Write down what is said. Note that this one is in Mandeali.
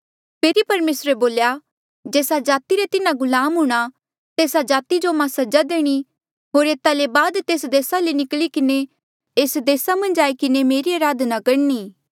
फेरी परमेसरे बोल्या जेस्सा जाति रे तिन्हा गुलाम हूंणां तेस्सा जाति जो मां सजा देणी होर एता ले बाद तेस देसा ले निकली किन्हें एस देस मन्झ आई किन्हें मेरी अराधना करणी